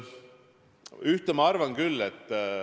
Ühte ma arvan küll.